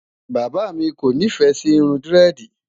bàbá mí kò nifẹ Si Irun diredi